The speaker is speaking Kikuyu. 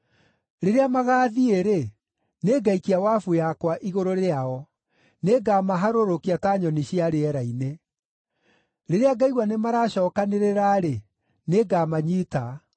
Rĩrĩa magaathiĩ-rĩ, nĩngaikia wabu yakwa igũrũ rĩao; nĩngamaharũrũkia ta nyoni cia rĩera-inĩ. Rĩrĩa ngaigua nĩmaracookanĩrĩra-rĩ, nĩngamanyiita.